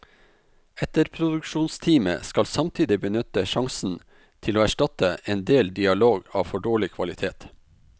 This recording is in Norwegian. Etterproduksjonsteamet skal samtidig benytte sjansen til å erstatte en del dialog av for dårlig kvalitet.